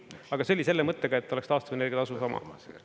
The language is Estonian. Aga see oli selle mõttega, et oleks taastuvenergia tasu sama.